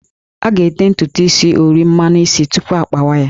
A ga-ete ntutu is ori/mmanụ isi tupu akpawa ya